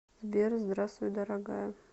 сбер здравствуй дорогая